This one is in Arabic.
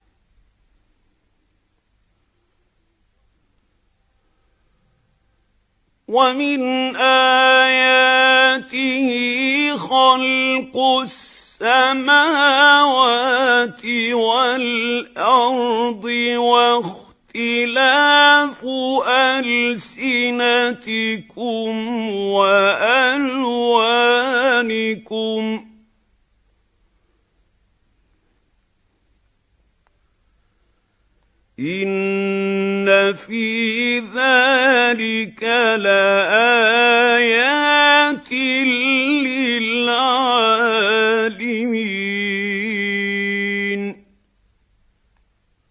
وَمِنْ آيَاتِهِ خَلْقُ السَّمَاوَاتِ وَالْأَرْضِ وَاخْتِلَافُ أَلْسِنَتِكُمْ وَأَلْوَانِكُمْ ۚ إِنَّ فِي ذَٰلِكَ لَآيَاتٍ لِّلْعَالِمِينَ